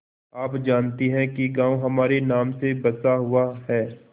आप जानती हैं कि गॉँव हमारे नाम से बसा हुआ है